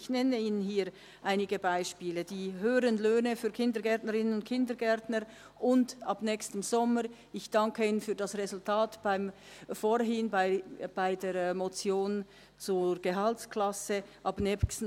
Ich nenne Ihnen hier einige Beispiele: die höheren Löhne für Kindergärtnerinnen und Kindergärtner und ab nächsten Sommer dann auch für die Primarlehrkräfte in diesem Kanton.